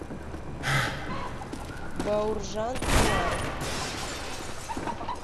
бауржан омаров